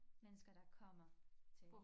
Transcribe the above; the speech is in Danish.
Mennesker der kommer til